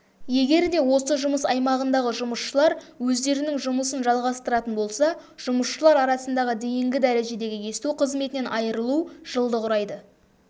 егерде осы жұмыс аймағындағы жұмысшылар өздерінің жұмысын жалғастыратын болса жұмысшылар арасындағы дейінгі дәрежедегі есту қызметінен айырылу жылды құрайды